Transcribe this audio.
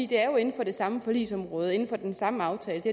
det er jo inden for det samme forligsområde inden for den samme aftale det